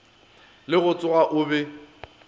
le go tsoga o be